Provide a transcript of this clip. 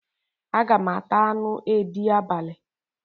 Aga m ata anu edi abali